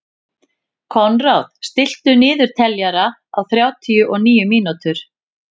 Konráð, stilltu niðurteljara á þrjátíu og níu mínútur.